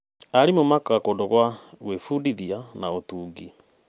Arimũ makaga kũndũ gwa gwĩbundithia na ũtungi.